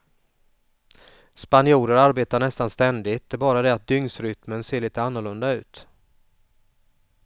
Spanjorer arbetar nästan ständigt, det är bara det att dygnsrytmen ser lite annorlunda ut.